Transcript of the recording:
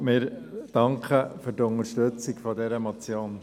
Wir danken für die Unterstützung dieser Motion.